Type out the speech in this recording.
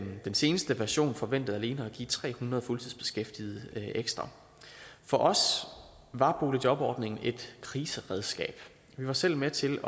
den seneste version forventer alene at give tre hundrede fuldtidsbeskæftigede ekstra for os var boligjobordningen et kriseredskab vi var selv med til